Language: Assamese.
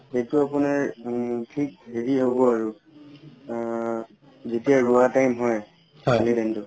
সেইটো আপোনাৰ উম থিক হব আৰু আ তেতিয়া ৰুৱা time হয় সেই ধানটোৰ